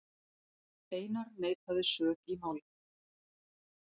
Einar neitaði sök í málinu.